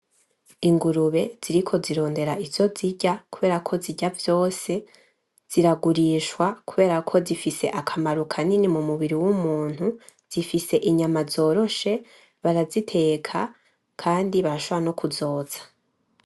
Ingurube ziriko zirondera ivyo zirya ,kuberako zirya vyose ziragurishwa, kuberako zifise akamaro kanini m’umubiri w'umuntu, zifise inyama zoroshe baraziteka Kandi barashobora nokuzotsa.